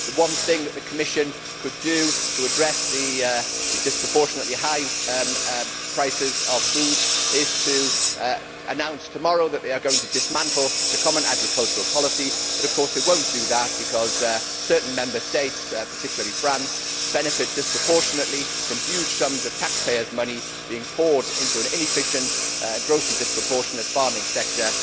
The one thing that the Commission could do to address the disproportionately high prices of food is to announce tomorrow that they are going to dismantle the common agricultural policy, but of course they will not do that because certain Member States, particularly France, benefit disproportionately from huge sums of taxpayers' money being poured into an inefficient, grossly disproportionate farming sector.